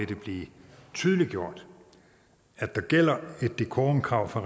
det blive tydeliggjort at der gælder et decorumkrav for